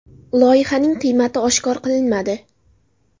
Loyihaning qiymati oshkor qilinmadi.